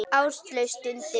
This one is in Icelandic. Áslaug stundi.